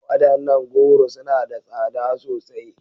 Wadannan goro suna da tsada sosai.